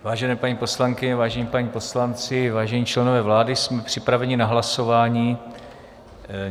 Vážené paní poslankyně, vážení páni poslanci, vážení členové vlády, jsme připraveni na hlasování.